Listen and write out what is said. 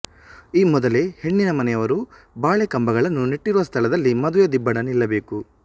ಈ ಮೊದಲೇ ಹೆಣ್ಣಿನ ಮನೆಯವರು ಬಾಳೆಕಂಬಗಳನ್ನು ನೆಟ್ಟಿರುವ ಸ್ಥಳದಲ್ಲಿ ಮದುವೆ ದಿಬ್ಬಣ ನಿಲ್ಲಬೇಕು